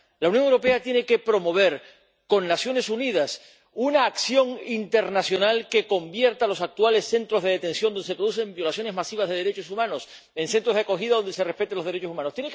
La Unión Europea tiene que promover con las Naciones Unidas una acción internacional que convierta los actuales centros de detención, donde se producen violaciones masivas de derechos humanos, en centros de acogida donde se respeten los derechos humanos.